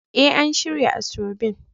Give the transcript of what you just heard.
Eh, an shirya asoebin.